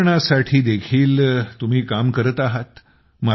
पर्यावरणासाठी देखील करत आहात